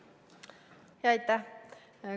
Aitäh!